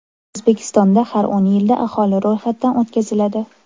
O‘zbekistonda har o‘n yilda aholi ro‘yxatdan o‘tkaziladi.